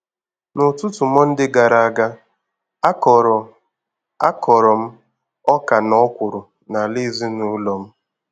N'ụtụtụ Mọnde gara aga, a kọrọ a kọrọ m Ọkà na Ọkwụrụ n'ala ezinụlọ m.